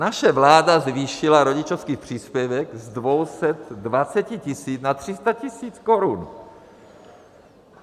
Naše vláda zvýšila rodičovský příspěvek z 220 tisíc na 300 tisíc korun.